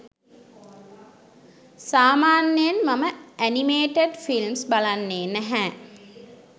සාමාන්‍යයෙන් මම animated films බලන්නේ නැහැ.